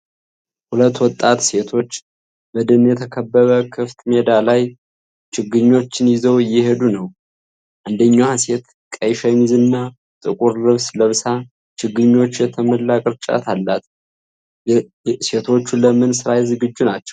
ሁለት ወጣት ሴቶች በደን የተከበበ ክፍት ሜዳ ላይ ችግኞችን ይዘው እየሄዱ ነው። አንደኛዋ ሴት ቀይ ሸሚዝና ጥቁር ልብስ ለብሳ ችግኞች የተሞላ ቅርጫት አላት። ሴቶቹ ለምን ስራ ዝግጁ ናቸው?